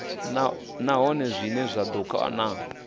nahone zwine zwa ḓo kona